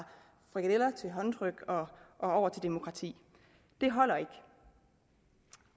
frikadeller til håndtryk og demokrati det holder ikke